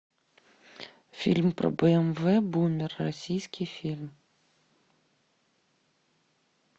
фильм про бмв бумер российский фильм